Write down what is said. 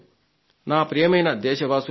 నా ప్రియమైన దేశవాసులారా